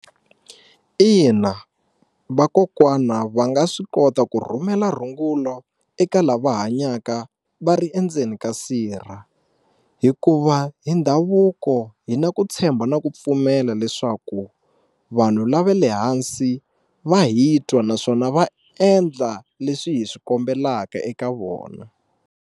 Ina vakokwana va nga swi kota ku rhumela rungulo eka lava hanyaka va ri endzeni ka sirha hikuva hi ndhavuko hi na ku tshemba na ku pfumela leswaku vanhu la ve le hansi va hi twa naswona va endla leswi hi swi kombelaka eka vona.